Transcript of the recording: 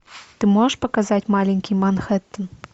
ты можешь показать маленький манхэттен